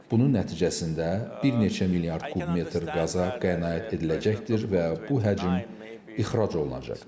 Bunun nəticəsində bir neçə milyard kub metr qaza qənaət ediləcəkdir və bu həcm ixrac olunacaqdır.